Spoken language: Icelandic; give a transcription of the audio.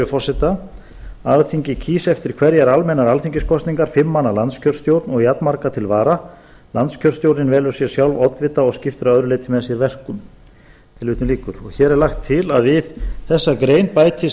forseta alþingi kýs eftir hverjar almennar alþingiskosningar fimm manna landskjörstjórn og jafnmarga til vara landskjörstjórn velur sér sjálf oddvita og skiptir að öðru leyti með sér verkum tilvitnun lýkur og hér er lagt til að við þessa grein bætist